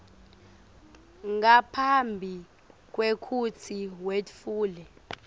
ngaphambi kwekutsi wetfule